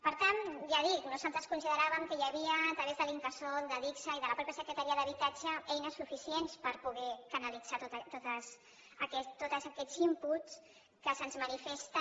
per tant ja ho dic nosaltres consideràvem que hi havia a través de l’incasol d’adigsa i de la mateixa secretaria d’habitatge eines suficients per poder canalitzar tots aquests inputs que se’ns manifesten